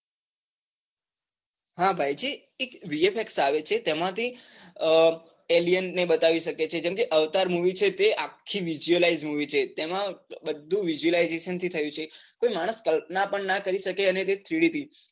હા ભાઈ જે એક વિજય આવે છે તેમાંથી અ alien ને બતાવી શકે છે જેમ કે અવતાર movie છે તે આખી visualise movie છે તેમાં બધું visualization થી થયું છે તો કોઈ માણસ કલ્પના પણ ના કરી શકે અને તે CD થી